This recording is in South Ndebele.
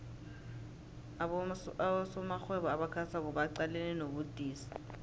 abosomarhwebo abasakhasako baqalene nobudisi